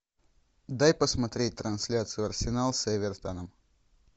дай посмотреть трансляцию арсенал с эвертоном